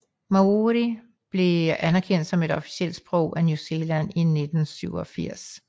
Māori blev anerkendt som et officielt sprog af New Zealand i 1987